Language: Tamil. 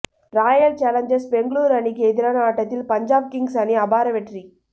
ராயல் சேலஞ்சர்ஸ் பெங்களூரு அணிக்கு எதிரான ஆட்டத்தில் பஞ்சாப் கிங்ஸ் அணி அபார வெற்றி